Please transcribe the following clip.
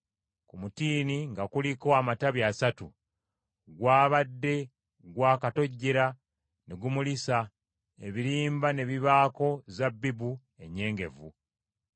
Ku mutiini nga kuliko amatabi asatu, gwabadde gwakatojjera ne gumulisa, ebirimba ne bibaako zabbibu ennyengevu.